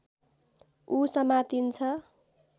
ऊ समातिन्छ